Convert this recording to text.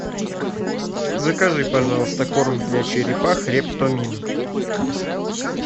закажи пожалуйста корм для черепах рептомин